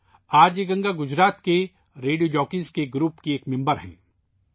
are J Ganga Gujarat کے radio jockey group کی رکن ہیں